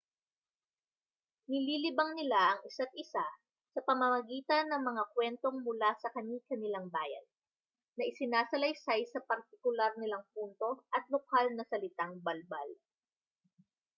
nililibang nila ang isa't-isa sa pamamagitan ng mga kuwentong mula sa kani-kanilang bayan na isinasalaysay sa partikular nilang punto at lokal na salitang balbal